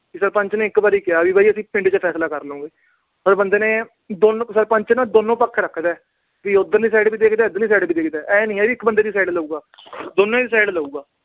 ਸਰਪੰਚ ਨੇ ਇੱਕ ਵਾਰ ਕਿਹਾ ਅਸੀਂ ਫੈਸਲਾ ਪਿੰਡ ਚ ਕਰ ਲਾਂਗੇ। ਪਰ ਬੰਦੇ ਨੇ, ਸਰਪੰਚ ਨਾ ਦੋਨੋਂ ਪੱਖ ਰੱਖਦਾ। ਵੀ ਉਧਰਲੀ side ਵੀ ਦੇਖਦਾ, ਇਧਰਲੀ side ਵੀ ਦੇਖਦਾ। ਆਏ ਨੀ ਵੀ ਇੱਕ ਬੰਦੇ ਦੀ side ਲਊਗਾ, ਦੋਨਾਂ ਦੀ side ਲਊਗਾ।